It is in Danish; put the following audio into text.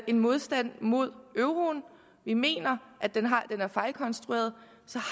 en modstand mod euroen og vi mener den er fejlkonstrueret